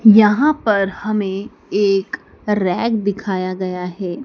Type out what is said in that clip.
यहां पर हमें एक रैक दिखाया गया है।